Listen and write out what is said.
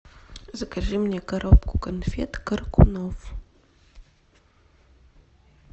закажи мне коробку конфет коркунов